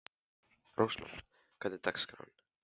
Rósmann, hvernig er dagskráin?